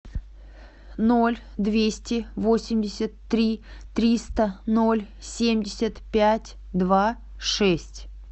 ноль двести восемьдесят три триста ноль семьдесят пять два шесть